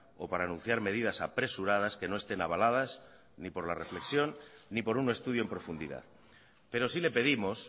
o para anunciar medidas apresuradas que no estén avaladas ni por la reflexión ni por un estudio en profundidad pero sí le pedimos